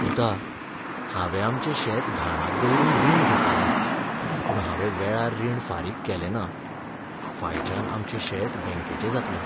पुता, हांवें आमचें शेत घाणाक दवरून रीण घेतिल्लें, पूण हांवें वेळार रीण फारीक केलें ना. फायच्यान आमचें शेत बँकेचें जातलें.